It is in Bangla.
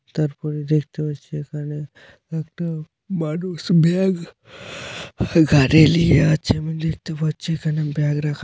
তারপরে দেখতে পাচ্ছি এখানে একটা মানুষ গাড়ি লিয়ে আছে দেখতে পাচ্ছি এখানে ব্যাগ রাখা।